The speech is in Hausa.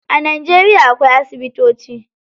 A Najeriya akwai asibitoci.